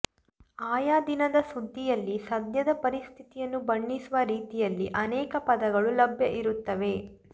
ಆಯಾ ದಿನದ ಸುದ್ದಿಯಲ್ಲಿ ಸದ್ಯದ ಪರಿಸ್ಥಿತಿಯನ್ನು ಬಣ್ಣಿಸುವ ರೀತಿಯಲ್ಲಿ ಅನೇಕ ಪದಗಳು ಲಭ್ಯ ಇರುತ್ತವೆ